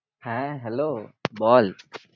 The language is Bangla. হ্যাঁ hello বল